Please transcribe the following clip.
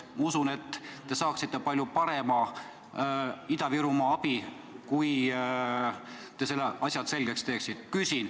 Ma usun, et te saaksite palju paremat abi Ida-Virumaale, kui te need asjad selgeks teeksite.